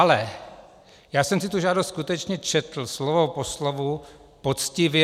Ale já jsem si tu žádost skutečně četl, slovo po slovu, poctivě.